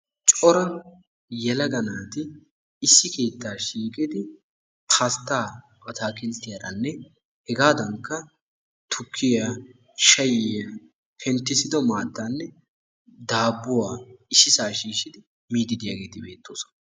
Cora yelaga naati issi keettaa shiiqidi pasttaa ataakilttiyaaranne hegaadankka tukkiyaa shayiyaa penttisido maattaanne dabbuwaa issisaa shiishidi miidi de'iyaageti beettoosona.